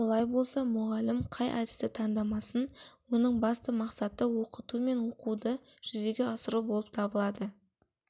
олай болса мұғалім қай әдісті таңдамасын оның басты мақсаты оқыту мен оқуды жүзеге асыру болып табылады